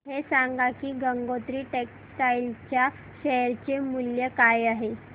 हे सांगा की गंगोत्री टेक्स्टाइल च्या शेअर चे मूल्य काय आहे